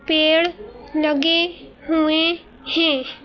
पेड़ लगे हुए हैं।